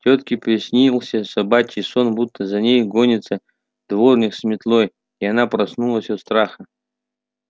тётке приснился собачий сон будто за ней гонится дворник с метлой и она проснулась от страха